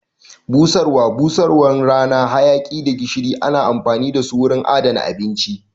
Busarwa, busarwan rana, hayaki da gishiri ana amfani dasu wurin adana abinci